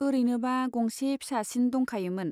ओरैनोबा गंसे फिसासिन दंखायोमोन।